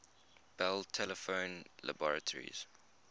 bell telephone laboratories